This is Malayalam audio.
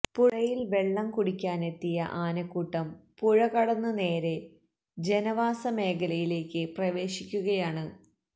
പുഴയിൽ വെള്ളം കുടിക്കാനെത്തുന്ന ആനക്കൂട്ടം പുഴകടന്ന് നേരേ ജനവാസ മേഖലയിലേക്ക് പ്രവേശിക്കുകയാണ്